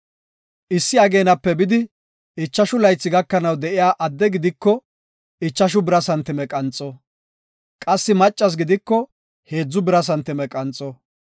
Issi ageenape bidi ichashu laythi gakanaw de7iya adde gidiko ichashu bira santime qanxo; qassi maccas gidiko heedzu bira santime qanxo.